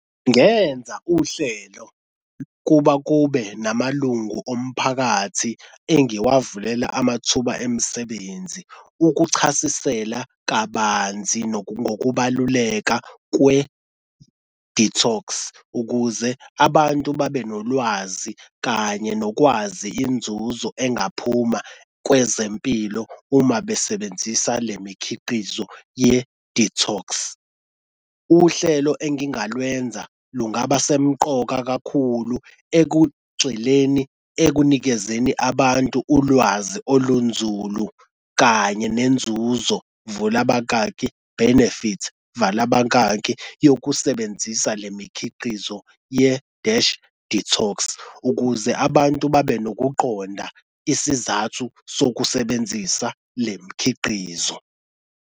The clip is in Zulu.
Ngenza uhlelo kuba kube namalungu omphakathi engiwavulela amathuba emisebenzi, ukuchasisela kabanzi ngokubaluleka kwe-detox ukuze abantu babe nolwazi kanye nokwazi inzuzo engaphuma kwezempilo uma besebenzisa le mikhiqizo ye-detox. Uhlelo engingalwenza lungaba semqoka kakhulu ekugcweleni ekunikezeni abantu ulwazi olunzulu kanye nenzuzo vula abakaki benifit vala abakaki yokusebenzisa le mikhiqizo ye-dash detox ukuze abantu babe nokuqonda isizathu sokusebenzisa le mikhiqizo.